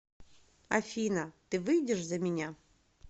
афина ты выйдешь за меня